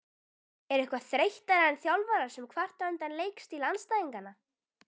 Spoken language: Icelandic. Er eitthvað þreyttara en þjálfarar sem kvarta undan leikstíl andstæðinganna?